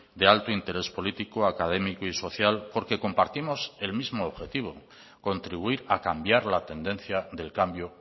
de alto interés político académico y social porque compartimos el mismo objetivo contribuir a cambiar la tendencia del cambio